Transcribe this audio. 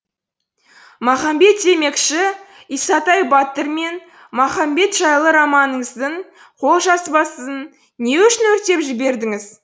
махамбет демекші исатай батыр мен махамбет жайлы романыңыздың қолжазбасын не үшін өртеп жібердіңіз